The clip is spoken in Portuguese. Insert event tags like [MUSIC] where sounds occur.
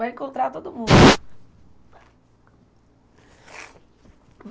Vai encontrar todo mundo. [SNIFFS]